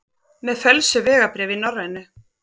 Með fölsuð vegabréf í Norrænu